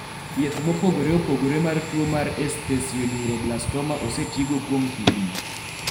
thieth mopogore opogore mar tuo mar esthesioneuroblastoma osetigo kuom higni